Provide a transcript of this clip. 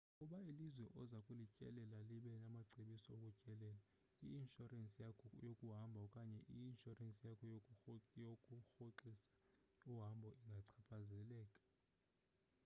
ukuba ilizwe oza kulityelella liba namacebiso okutyelela i-inshorensi yakho yokuhamba okanye i-inshorensi yakho yokurhoxisa uhambo ingachaphazeleka